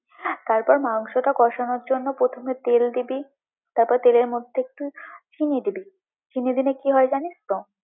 তারপর মাংসটা কষানোর জন্য প্রথমে তেল দিবি, তার পরে তেলের মধ্যে একটু চিনি দিবি, চিনি দিলে জানিশ তো?